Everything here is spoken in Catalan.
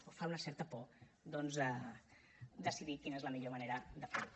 o que fa una certa por doncs decidir quina és la millor manera de fer ho